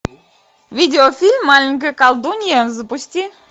видеофильм маленькая колдунья запусти